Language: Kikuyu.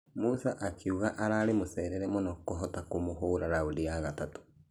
Musa akĩuga Ararĩ mũcerere mũno kũhota kũmũhũra raundi ya gatatũ ......